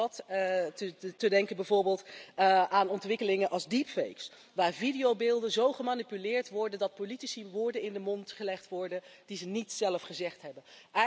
Want wat te denken bijvoorbeeld van ontwikkelingen als Deepface, waar videobeelden zo gemanipuleerd worden dat politici woorden in de mond gelegd worden die ze niet zelf gezegd hebben.